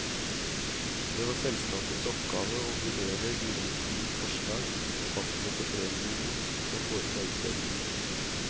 Det var selskapets oppgave å vurdere de innkomne forslag, fastsette premiene og foreta utdelingen.